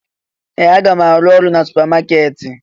Ee! Aga m arụ ọrụ na supamakeeti.